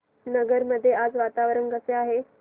नगर मध्ये आज वातावरण कसे आहे